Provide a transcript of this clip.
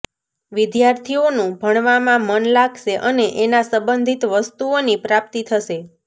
વિદ્યાર્થીઓનું ભણવામાં મન લાગશે અને એના સંબંધિત વસ્તુઓની પ્રાપ્તિ થશે